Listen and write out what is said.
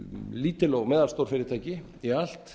lítil og meðalstór fyrirtæki í allt